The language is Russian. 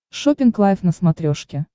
шоппинг лайф на смотрешке